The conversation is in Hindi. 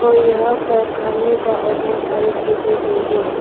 और यहां पर खाने का और बहोत सारी चीज़ें भी है।